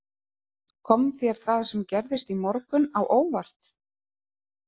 Kom þér það sem gerðist í morgun á óvart?